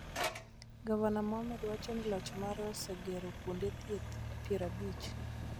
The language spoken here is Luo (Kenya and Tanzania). Gavana Mohamud wacho ni loch mare osegero kuonde thieth piero abich